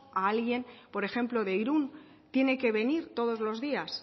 a alguien por ejemplo de irún tiene que venir todos los días